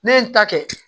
Ne ye n ta kɛ